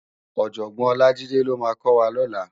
Òjògbòn Olajide ló má kò wá lòlá